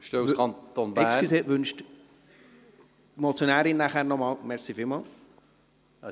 Entschuldigen Sie, wünscht die Motionärin nachher nochmals das Wort? – Vielen Dank.